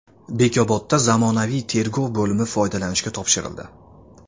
Bekobodda zamonaviy tergov bo‘limi foydalanishga topshirildi.